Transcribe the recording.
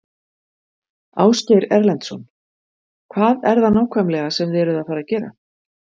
Ásgeir Erlendsson: Hvað er það nákvæmlega sem þið eruð að fara gera?